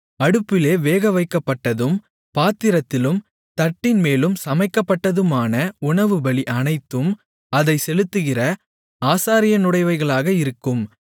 அடுப்பிலே வேகவைக்கப்பட்டதும் பாத்திரத்திலும் தட்டின்மேலும் சமைக்கப்பட்டதுமான உணவுபலி அனைத்தும் அதைச் செலுத்துகிற ஆசாரியனுடையவைகளாக இருக்கும்